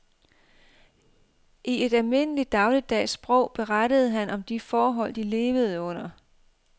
I et almindelig dagligdags sprog berettede han om de forhold de levede under.